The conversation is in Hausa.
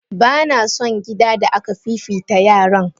Bana son gida da aka fifita yaran.